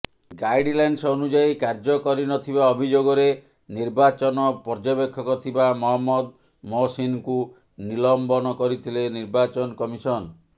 guidelines ଅନୁଯାୟୀ କାର୍ଯ୍ୟ କରିନଥିବା ଅଭିଯୋଗରେ ନିର୍ବାଚନ ପର୍ଯ୍ୟବେକ୍ଷକ ଥିବା ମହମ୍ମଦ ମହସିନ୍ଙ୍କୁ ନିଲମ୍ବନ କରିଥିଲେ ନିର୍ବାଚନ କମିସନ୍